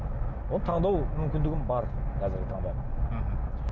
оны таңдау мүмкіндігім бар қазіргі таңда мхм